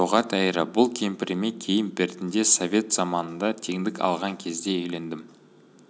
жоға тәйірі бұл кемпіріме кейін бертінде совет заманында теңдік алған кезде үйлендім